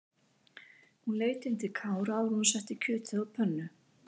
Hún leit inn til Kára áður en hún setti kjötið á pönnu.